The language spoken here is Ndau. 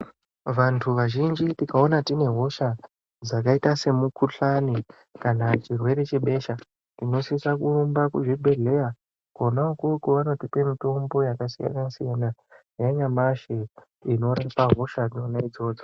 Vanthu vazhinji tikaona tine hosha dzakaita semikuhlani kana chirwere chebesha tinosisa kurumba kuzvibhedhlera kona ikoko vanotipa mitombo yakasiyana siyana yanyamashi inorapa hosha dzona idzodzo.